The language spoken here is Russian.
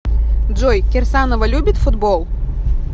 джой кирсанова любит футбол